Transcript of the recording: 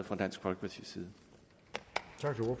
fra dansk folkepartis side